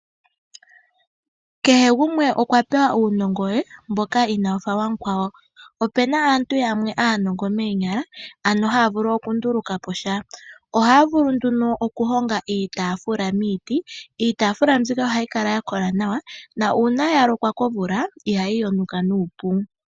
Kehe gumwe okwapewa uunongo we mboka inawufa wamukwawo. Opuna aantu yamwe aanongo moonyala, ano haya vulu okundulukapo sha. Ohaya vulu nduno okuhonga iitaafula miiti . Iitaafula mbika ohayi kala yakola nawa, na uuna yalokwa komvula ihayi yonuka nuupu.